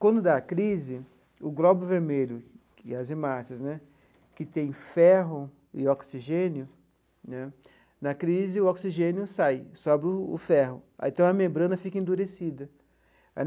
Quando dá a crise, o glóbulo vermelho e as hemácias né, que têm ferro e oxigênio né, na crise o oxigênio sai, sobra o o ferro, aí então a membrana fica endurecida.